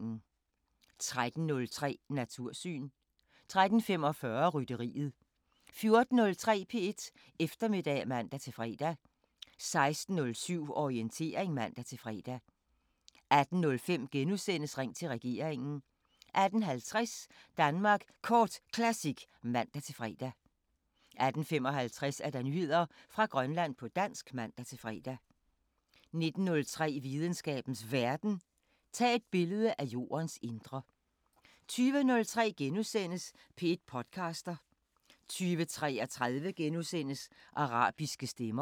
13:03: Natursyn 13:45: Rytteriet 14:03: P1 Eftermiddag (man-fre) 16:07: Orientering (man-fre) 18:05: Ring til regeringen * 18:50: Danmark Kort Classic (man-fre) 18:55: Nyheder fra Grønland på dansk (man-fre) 19:03: Videnskabens Verden: Tag billede af jordens indre 20:03: P1 podcaster * 20:33: Arabiske Stemmer *